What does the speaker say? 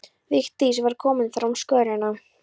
Vigdís var komin fram á skörina.